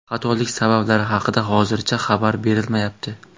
Xatolik sabablari haqida hozircha xabar berilmayapti.